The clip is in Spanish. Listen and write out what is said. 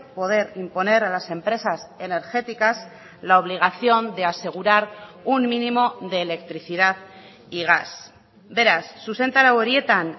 poder imponer a las empresas energéticas la obligación de asegurar un mínimo de electricidad y gas beraz zuzentarau horietan